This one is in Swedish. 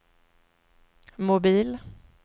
mobil